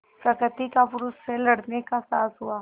प्रकृति का पुरुष से लड़ने का साहस हुआ